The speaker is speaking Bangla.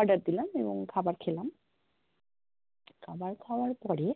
order দিলাম এবং খাবার খেলাম খাবার খাওয়ার পরে